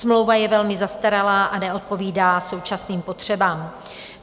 Smlouva je velmi zastaralá a neodpovídá současným potřebám.